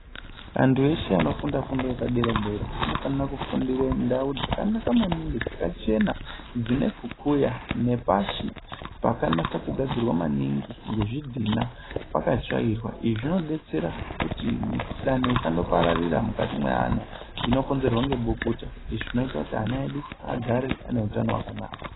Antu eshe anofunda fundo yepadera-dera anofanira kufundire ndau dzakanaka maningi dzakachena dzine kukuya nepashi paka nasakugadzirwa maningi ngezvidhina pakatsvairwa. Izvi zvinodetsera kuti mikuhlani isando pararira mukati mweana inokonzerwa ngebukuta izvi zvinoita kuti ana edu agere ane utano hwakanaka.